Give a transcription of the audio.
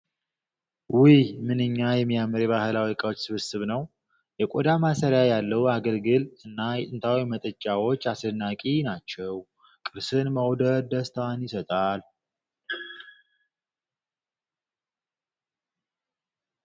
ውይ! ምንኛ የሚያምር የባህል እቃዎች ስብስብ ነው! የቆዳ ማሰሪያ ያለው አገልግል እና የጥንት መጠጫዎች አስደናቂ ናቸው! ቅርስን መውደድ ደስታን ይሰጣል!